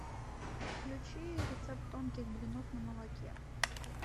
включи рецепт тонких блинов на молоке